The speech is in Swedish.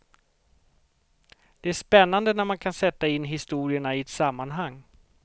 Det är spännande när man kan sätta in historierna i ett sammanhang.